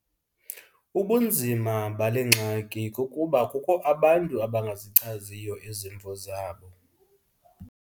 Ubunzima bale ngxaki kukuba kukho abantu abangazichaziyo izimvo zabo.